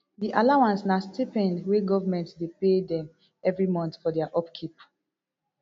di allowance na stipend wey goment dey pay dem evri month for dia upkeep